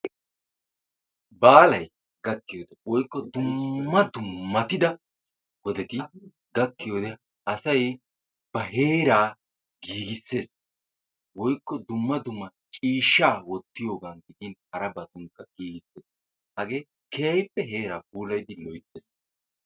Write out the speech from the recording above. Baalee gakkiyode woykko dummatida wodetti gakkiyode, asay ba heeraa giigisessees. woykko dumma dumma ciishshaa wootiyogan giigisees. hagee keehippe heeraa puulayidi loytees.